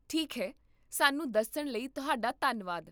ਠੀਕ ਹੈ, ਸਾਨੂੰ ਦੱਸਣ ਲਈ ਤੁਹਾਡਾ ਧੰਨਵਾਦ